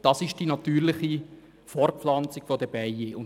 So geht die natürliche Fortpflanzung bei den Bienen vonstatten.